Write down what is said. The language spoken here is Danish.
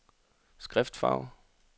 skriftfarve